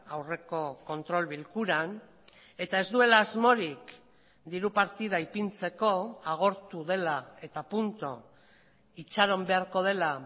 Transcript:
aurreko kontrol bilkuran eta ez duela asmorik diru partida ipintzeko agortu dela eta punto itxaron beharko dela